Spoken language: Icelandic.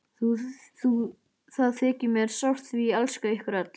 Það þykir mér sárt því ég elska ykkur öll.